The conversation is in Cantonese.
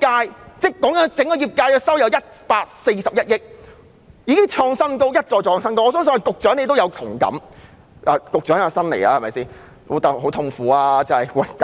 元，整個業界在去年的收入共有141億元，一再創下新高，相信局長對此也有同感。